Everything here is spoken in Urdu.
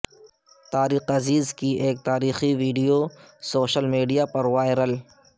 طارق عزیز کی ایک تاریخی ویڈیو سوشل میڈیا پر وائرل